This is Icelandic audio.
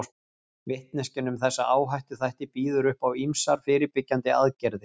Vitneskjan um þessa áhættuþætti býður upp á ýmsar fyrirbyggjandi aðgerðir.